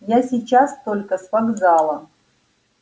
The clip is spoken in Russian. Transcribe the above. я сейчас только с вокзала